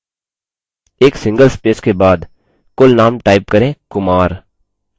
एक single space के बाद कुलनाम type करें kumar